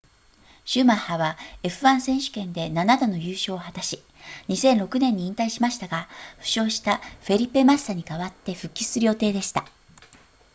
シューマッハは f1 選手権で7度の優勝を果たし2006年に引退しましたが負傷したフェリペマッサに代わって復帰する予定でした